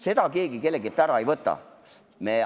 Seda õigust keegi kelleltki ära ei võta.